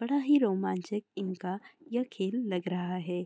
बढ़ा ही रोमांचिक इनका यह खेल लग रहा है।